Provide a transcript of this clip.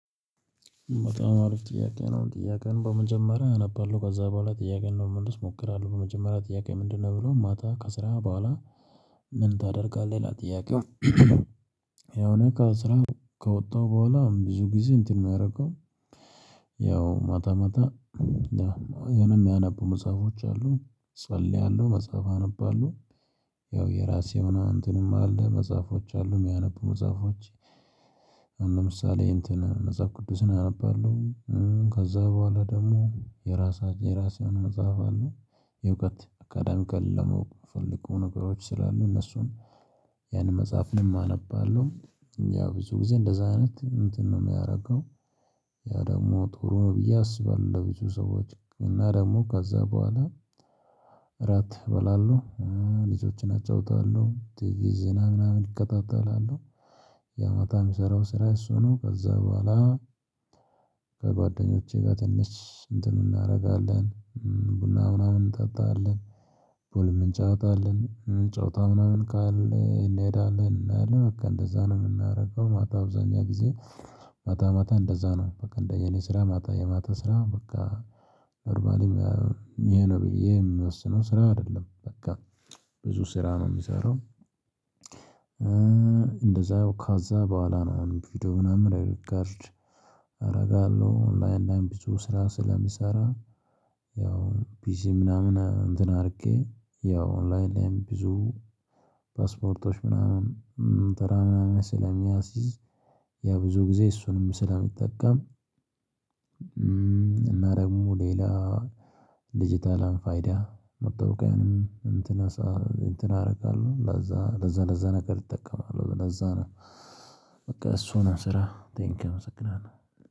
በጣም አሪፍ ጥያቄ ነው። ጥያቄውን በመጀመሪያ አነባለሁ ከዛ በኋላ ጥያቄውን ለመመለስ እሞክራለሁ። በመጀመሪያ ጥያቄው ምንድነው የሚለው ማታ ከስራ በኋላ ምን ታደርጋለህ? ይላል ጥያቄው። ያው እኔ ከስራ ከወጣሁ በኋላ ብዙ ጊዜ እንትን ነው የማረገው። ያው ማታ ማታ የሆነ የማነበው መጽሐፎች አሉ። እጸልያለሁ፣ መጽሐፍ አነባለሁ ያው የራሴ ምናምን እንትንም አለ መጽሐፎች አሉ የማነበው መጽሐፎች ለምሳሌ እንትን መጽሐፍ ቅዱስን አነባለሁ። ከዛ በኋላ ደግሞ የራሳ የራሴ የሆነ መጽሐፍ አለ። የእውቀት አካዳሚካሊ ለማወቅ የምፈልገው ነገሮች ስላሉ እነሱን ያንን መጽሐፍንም አነባለው። ያው ብዙ ጊዜ እንደዛ አይነት እንትን ነው የማደርገው ያ ደግሞ ጥሩ ነው ብዬ አስባለሁ ለብዙ ሰዎች። እና ደግሞ ከዛ በኋላ እራት እባላለሁ፤ ልጆቼን አጫውታለሁ፤ ቲቪ ዜና ምናምን እከታተላለሁ። ያው ማታ የምሰራው ስራ እሱ ነው። ከዛ በኋላ ከጓደኞቼ ጋር ትንሽ እንትን እናደርጋለን ቡና ምናምን እንጠጣለን። እንጫወታለን ጨዋታ ምናምን ካለ እንሄዳለን እናያለን በቃ እንደዛ ነው የምናደርገው ማታ አብዛኛው ጊዜ ማታ ማታ እንደዛ ነው በቃ እንደ የኔ ስራ ማታ የማታ ስራ በቃ ቨርባሊም ይሄ ነው ብዬ የምወስነው ስራ አይደለም በቃ። ብዙ ስራ ነው የምሰራው እንደዛው ካዛ በኋላ ነው ቪዲዮ ምናምን ሪከርድ አደርጋለሁ። ኦንላይን ላይም ብዙ ስራ ስለምሰራ ያው ፒሲ ምናምን እንትን አድርጌ ያው ኦንላይን ላይም ብዙ ፓስፖርቶች ምናምን ተራ ምናምን ስለማስይዝ ብዙ ጊዜ እሱንም ስለምጠቀም እና ደግሞ ሌላ ዲጅታል ፋይዳ መታወቂያንም እንትን እንትን አደርጋለሁ ለዛ ለዛ ለዛ ነገር እጠቀማለሁ። ለዛ ነው በቃ እሱ ነው ስራ ቴንክ ዩ አመሰግናለሁ።